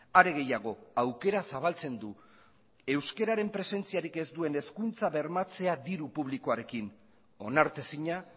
are gehiago aukera zabaltzen du euskeraren presentziarik ez duen hezkuntza bermatzea diru publikoarekin onartezina